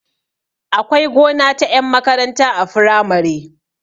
Akwai gona ta ƴan makaranta a firamare